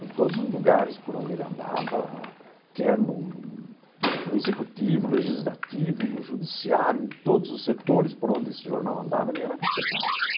Em todos os lugares por onde ele andava, quer no no executivo, no legislativo, no judiciário, em todos os setores por onde esse jornal andava, ele era respeitado.